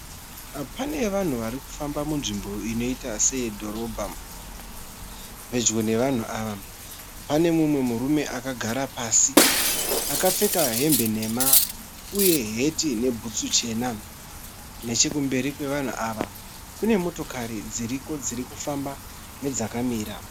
Pane vanhu varikufamba munzvimbo inoita seyedhorobha. Pedyo nevanhu ava, pane mumwe murume akagara pasi akapfeka hembe nhema uye heti nebhutsu chena. Nechekumberi kwevanhu ava kune motokari dziriko dzirikufamba nedzakamita.